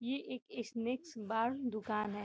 ये एक a snacks bar दुकान है।